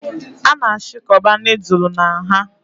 A na-achịkọba nudulu na nha